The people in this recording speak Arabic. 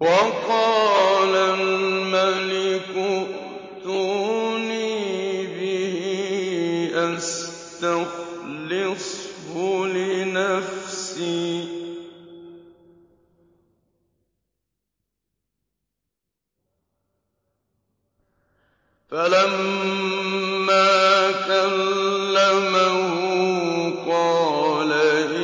وَقَالَ الْمَلِكُ ائْتُونِي بِهِ أَسْتَخْلِصْهُ لِنَفْسِي ۖ فَلَمَّا كَلَّمَهُ قَالَ